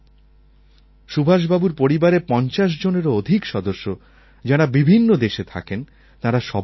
সুভাষবাবুর পরিবারের ৫০ জনেরও অধিক সদস্য যাঁর বিভিন্ন দেশে থাকেন তাঁরা সবাই আসছেন